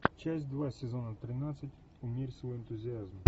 часть два сезона тринадцать умерь свой энтузиазм